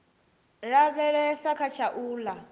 lavhelesa kha tsha u ḽa